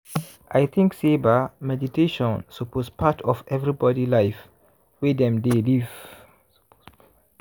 i think say ba meditation suppose part of everybody life wey dem dey live.